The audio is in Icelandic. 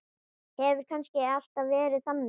Hefur kannski alltaf verið þannig?